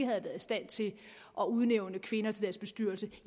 været i stand til at udnævne kvinder til deres bestyrelse